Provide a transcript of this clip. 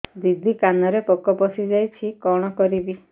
ଦିଦି କାନରେ ପୋକ ପଶିଯାଇଛି କଣ କରିଵି